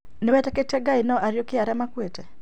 Nĩwĩtĩkĩtie nginya no ariũkie arĩa makuĩte?